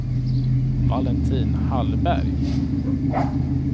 Valentin Hallberg